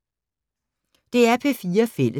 DR P4 Fælles